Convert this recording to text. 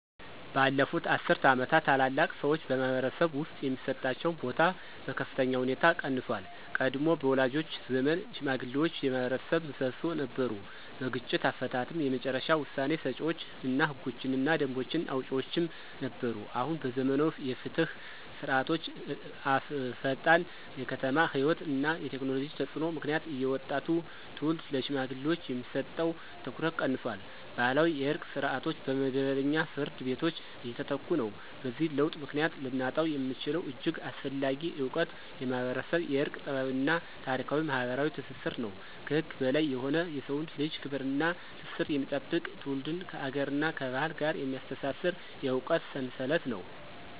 ባለፉት አስርት ዓመታት፣ ታላላቅ ሰዎች በማኅበረሰብ ውስጥ የሚሰጣቸው ቦታ በከፍተኛ ሁኔታ ቀንሷል። ቀድሞ በወላጆቻችን ዘመን ሽማግሌዎች የማኅበረሰብ ምሰሶ ነበሩ። በግጭት አፈታትም የመጨረሻ ውሳኔ ሰጪዎች እና ህጎችንና ደንቦችን አውጪዎችም ነበሩ። አሁን በዘመናዊ የፍትህ ስርዓቶችዐፈጣን የከተማ ሕይወት እና የቴክኖሎጂ ተፅዕኖ ምክንያት የወጣቱ ትውልድ ለሽማግሌዎች የሚሰጠው ትኩረት ቀንሷል። ባህላዊ የእርቅ ስርዓቶች በመደበኛ ፍርድ ቤቶች እየተተኩ ነው። በዚህ ለውጥ ምክንያት ልናጣው የምንችለው እጅግ አስፈላጊ እውቀት የማኅበረሰብ የእርቅ ጥበብ እና ታሪካዊ ማኅበራዊ ትስስር ነው። ከህግ በላይ የሆነ የሰውን ልጅ ክብር እና ትስስር የሚጠብቅ፣ ትውልድን ከአገርና ከባህል ጋር የሚያስተሳስር የእውቀት ሰንሰለት ነው።